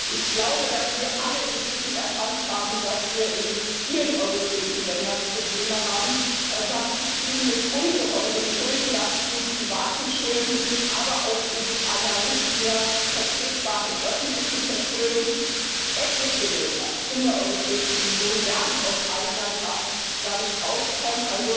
Ich glaube, dass wir alle inzwischen erkannt haben, dass wir in vielen europäischen Ländern Probleme haben, welche mit ungeheuren Schuldenlasten, privaten Schulden, aber auch einer nicht mehr vertretbaren öffentlichen Verschuldung in Verbindung stehen. Etliche Länder in der Europäischen Union werden aus eigener Kraft da nicht herauskommen.